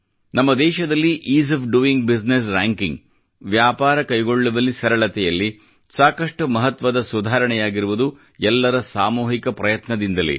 ನಮ್ಮ ದೇಶದಲ್ಲಿ ease of doing business ranking ವ್ಯಾಪಾರ ಕೈಗೊಳ್ಳುವಲ್ಲಿ ಸರಳತೆ ನಲ್ಲಿ ಸಾಕಷ್ಟು ಮಹತ್ವದ ಸುಧಾರಣೆ ಯಾಗಿರುವುದು ಎಲ್ಲರ ಸಾಮೂಹಿಕ ಪ್ರಯತ್ನದಿಂದಲೇ